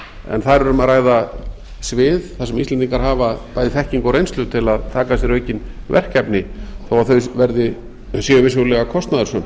en þar er um að ræða svið þar sem íslendingar hafa bæði þekkingu og reynslu til að taka að sér aukin verkefni þó að þau séu vissulega kostnaðarsöm